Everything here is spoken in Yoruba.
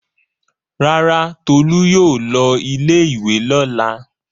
Rárá, Tolú yóò lọ ilé-ìwé lọ́la.